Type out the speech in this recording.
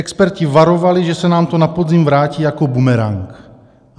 Experti varovali, že se nám to na podzim vrátí jako bumerang.